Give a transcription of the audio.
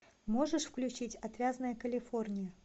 можешь включить отвязная калифорния